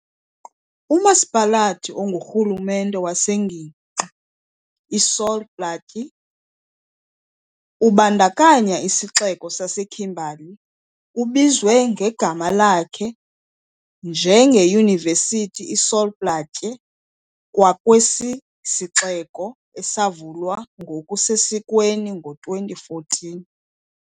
UMasipalathi ongurhulumente wengingqi iSol Plaatje, ubandakanya isixeko saseKimberley, ubizwe ngegama lakhe, nje ngeYunivesithi iSol Plaatje kwakwesi siXeko, esavulwa ngokusesikweni ngo-2014.